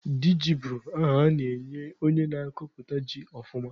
Diji bụ aha a na-enye onye na-akọpụta ji ọfụma